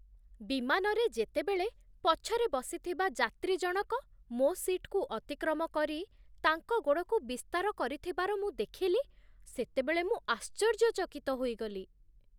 ବିମାନରେ ଯେତେବେଳେ ପଛରେ ବସିଥିବା ଯାତ୍ରୀ ଜଣକ ମୋ ସିଟ୍‌କୁ ଅତିକ୍ରମ କରି ତାଙ୍କ ଗୋଡ଼କୁ ବିସ୍ତାର କରିଥିବାର ମୁଁ ଦେଖିଲି, ସେତେବେଳେ ମୁଁ ଆଶ୍ଚର୍ଯ୍ୟଚକିତ ହୋଇଗଲି।